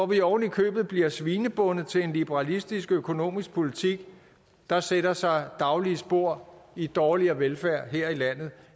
vi ovenikøbet bliver svinebundet til en liberalistisk økonomisk politik der sætter sig daglige spor i dårligere velfærd her i landet